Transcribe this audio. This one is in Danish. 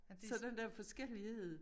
Så den der forskellighed